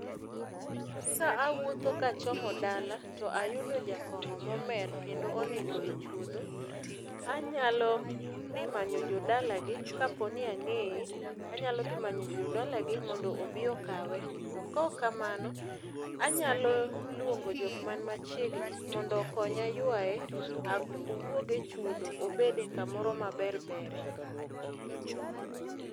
ka awuotho kachomo dala to ayudo jakong'o momer kendo onindo e chuodho anyalo dhi manyo jodalagi kapo ni ang'eye anyalo dhi manyo jodalagi mondo obi okawe. To kok kamano anyalo luongo jok man machiegni mondo okonya yuaye owuogi e chuodho obede kamoro maber bere.